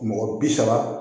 Mɔgɔ bi saba